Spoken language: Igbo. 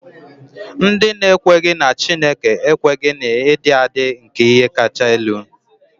Ndị na-ekweghị na Chineke ekweghị na ịdị adị nke ihe kacha elu.